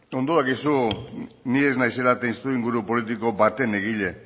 ondo dakizu ni ez naizela testuinguru politiko baten egile